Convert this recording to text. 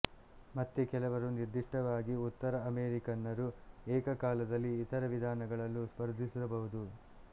ಮತ್ತೆ ಕೆಲವರು ನಿರ್ದಿಷ್ಟವಾಗಿ ಉತ್ತರ ಅಮೇರಿಕನ್ನರು ಏಕಕಾಲದಲ್ಲಿ ಇತರ ವಿಧಾನಗಳಲ್ಲೂ ಸ್ಪರ್ಧಿಸಬಹುದು